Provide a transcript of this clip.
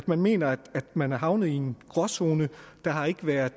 man mener man er havnet i en gråzone der har ikke været